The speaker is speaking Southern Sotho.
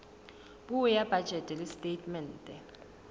puo ya bajete le setatemente